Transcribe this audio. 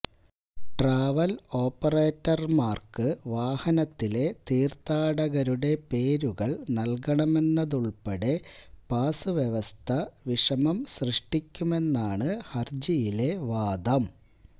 travel ഓപ്പറേറ്റർമാർക്ക് വാഹനത്തിലെ തീർഥാടകരുടെ പേരുകൾ നൽകണമെന്നതുൾപ്പെടെ പാസ് വ്യവസ്ഥ വിഷമം സൃഷ്ടിക്കുമെന്നാണ് ഹർജിയിലെ വാദം